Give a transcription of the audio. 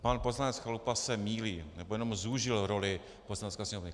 Pan poslanec Chalupa se mýlí, nebo jenom zúžil roli Poslanecké sněmovny.